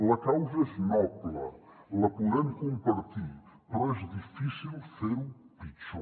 la causa és noble la podem compartir però és difícil fer ho pitjor